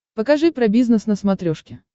покажи про бизнес на смотрешке